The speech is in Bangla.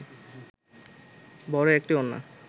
বড় একটি ওড়না